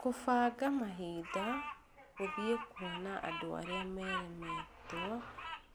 Kũbanga mahinda gũthiĩ kũona andũ arĩa meeremetwo